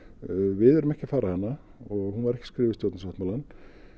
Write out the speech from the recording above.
við erum ekki að fara hana og hún var ekki skrifuð í stjórnarsáttmálann